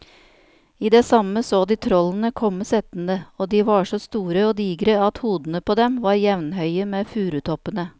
I det samme så de trollene komme settende, og de var så store og digre at hodene på dem var jevnhøye med furutoppene.